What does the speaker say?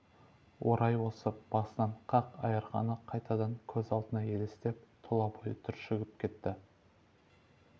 орай осып басын қақ айырғаны қайтадан көз алдына елестеп тұла бойы түршігіп кетті